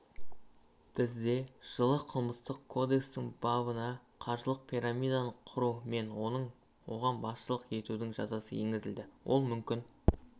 бізде жылы қылмыстық кодекстің бабына қаржылық пирамиданы құру мен оған басшылық етудің жазасы енгізілді ол мүлкін